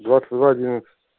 двадцать два одиннадцать